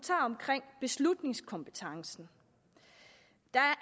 omkring beslutningskompetencen der